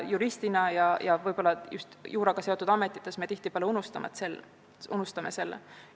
Juristidena ja juuraga seotud ametites me tihtipeale unustame selle.